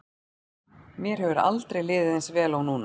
Mér hefur aldrei liðið eins vel og núna.